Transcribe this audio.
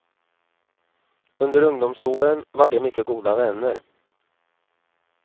Under ungdomsåren var de mycket goda vänner.